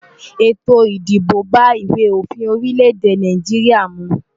Ètò ìdìbò bá ìwé òfin orílẹ̀ èdè Nàìjíríà mu.